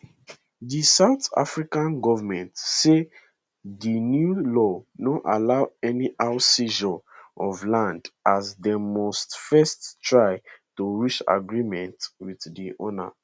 di south african goment say di new law no allow anyhow seizures of land as dem must first try to reach agreement wit di owner